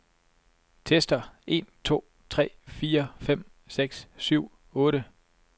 Tester en to tre fire fem seks syv otte.